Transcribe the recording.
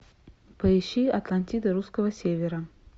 поищи атлантида русского севера